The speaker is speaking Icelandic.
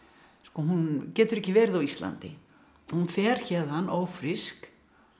hún getur ekki verið á Íslandi hún fer héðan ófrísk